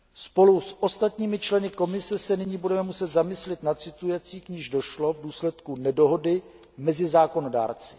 Spolu s ostatními členy Komise se nyní budeme muset zamyslit nad situací, k níž došlo v důsledku nedohody mezi zákonodárci.